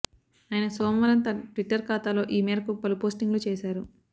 ఆయన సోమవారం తన ట్విట్టర్ ఖాతాలో ఈమేరకు పలు పోస్టింగ్లు చేశారు